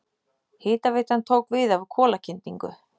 Hitaveitan tók við af kolakyndingu.